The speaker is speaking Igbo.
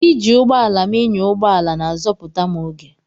Iji ụgbọ ala m ịnya ụgbọ ala na-azọpụta m oge.